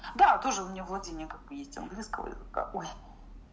да тоже у меня владение как бы есть английского языка ой